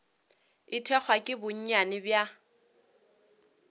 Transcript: o thekgwa ke bonnyane bja